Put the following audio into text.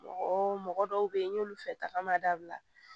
Mɔgɔ mɔgɔ dɔw bɛ yen n y'olu fɛ tagama dabila